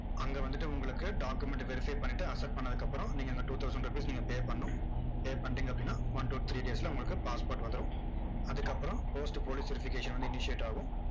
அங்க வந்துட்டு உங்களுக்கு document verify பண்ணிட்டு accept பண்ணதுக்கு அப்பறம், நீங்க அந்த two thousand rupees நீங்க pay பண்ணணும் pay பண்றீங்க அப்படின்னா one to three days ல உங்களுக்கு passport வந்துரும். அதுக்கு அப்பறம் post police verification வந்து intiate ஆகும்.